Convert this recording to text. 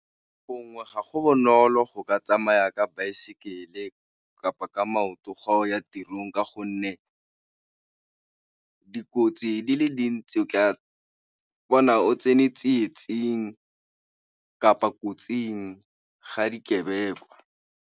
Gongwe ga go bonolo go ka tsamaya ka baesekele kapa ka maoto fa o ya tirong ka gonne dikotsi di le dintsi o tla bona o tsene tsietsing kapa kotsing ga dikebekwa.